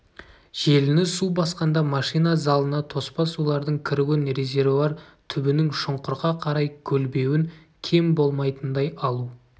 желіні су басқанда машина залына тоспа сулардың кіруін резервуар түбінің шұңқырға қарай көлбеуін кем болмайтындай алу